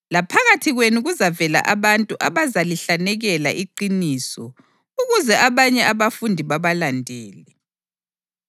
Laphakathi kwenu kuzavela abantu abazalihlanekela iqiniso ukuze abanye abafundi babalandele.